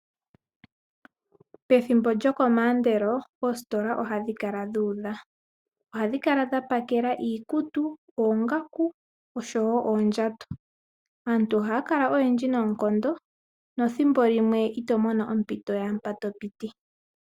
Pethimbo lyokomaandelo oositola ohadhi kala dhu udha. Ohadhi kala dha pakela iikutu, oongaku oshowo oondjato. Aantu ohaya kala oyendji noonkondo nethimbo limwe ito mono ompito yaampa to piti.